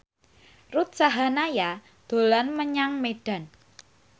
Ruth Sahanaya dolan menyang Medan